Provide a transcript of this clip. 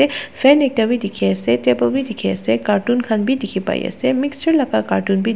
fan ekta wi dikhi asey table wi dikhi asey cartoon khan bi dikhi pai asey mixer laka cartoon bi--